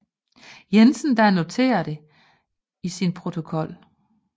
Jensen der noterede det i sin protokol